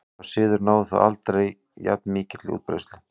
Sá siður náði þó aldrei jafn mikilli útbreiðslu.